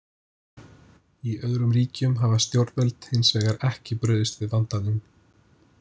Í öðrum ríkjum hafa stjórnvöld hins vegar ekki brugðist við vandanum.